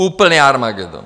Úplný armagedon!